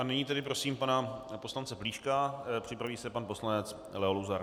A nyní tedy prosím pana poslance Plíška, připraví se pan poslanec Leo Luzar.